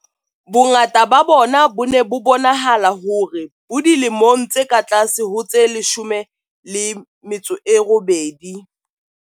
Bongata ba bona bo ne bo bonahala hore bo dilemong tse ka tlase ho tse 18.